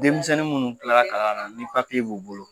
Denmisɛnnin munnu kila la kalan ni papyei b'u bolo